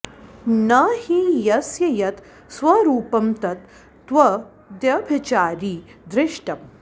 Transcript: न हि यस्य यत् स्वरूपं तत् तद्व्यभिचारि दृष्टं